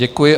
Děkuji.